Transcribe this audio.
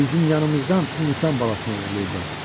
Bizim yanımızdan insan balasını oğurlayıblar.